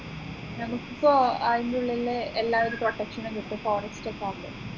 നമുക്കിപ്പോ അതിന്റുള്ളില് എല്ലാവിധ protection നും കിട്ടും forest ഒക്കെ ആണെങ്കിൽ